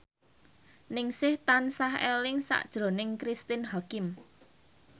Ningsih tansah eling sakjroning Cristine Hakim